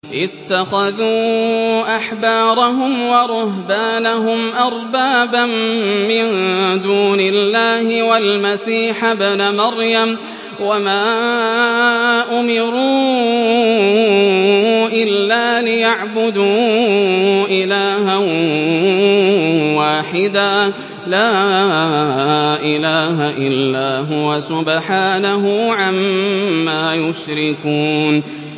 اتَّخَذُوا أَحْبَارَهُمْ وَرُهْبَانَهُمْ أَرْبَابًا مِّن دُونِ اللَّهِ وَالْمَسِيحَ ابْنَ مَرْيَمَ وَمَا أُمِرُوا إِلَّا لِيَعْبُدُوا إِلَٰهًا وَاحِدًا ۖ لَّا إِلَٰهَ إِلَّا هُوَ ۚ سُبْحَانَهُ عَمَّا يُشْرِكُونَ